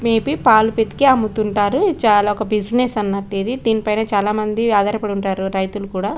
May be పాల్ పితికి అముతుంటారు చాలా ఒక బిజినెస్ అన్నట్టిది దీన్ పైన చాలా మంది ఆధార పడిఉంటారు రైతులు కూడా.